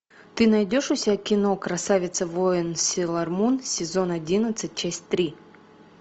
ты найдешь у себя кино красавица воин сейлор мун сезон одиннадцать часть три